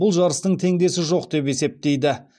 бұл жарыстың теңдесі жоқ деп есептейді